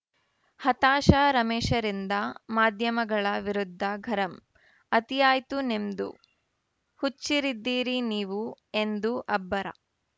ಹತಾಶ ರಮೇಶ್‌ರಿಂದ ಮಾಧ್ಯಮಗಳ ವಿರುದ್ಧ ಗರಂ ಅತಿಯಾಯ್ತು ನಿಮ್ದು ಹುಚ್ಚರಿದ್ದೀರಿ ನೀವು ಎಂದು ಅಬ್ಬರ